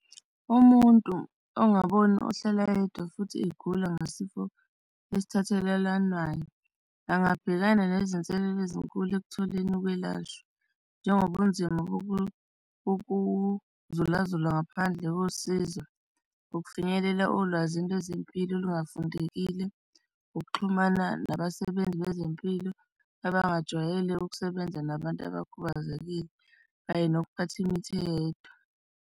Umuntu ongaboni ohlala yedwa futhi igula ngasifo esithathelananayo angabhekana nezinselelo ezinkulu ekutholeni ukwelashwa, njengobunzima bokuzula zula ngaphandle kosizo. Ukufinyelela olwazini lwezempilo olungafundekile ukuxhumana nabasebenzi bezempilo abangajwayele ukusebenza nabantu abakhubazekile kanye nokuphatha imithi eyedwa.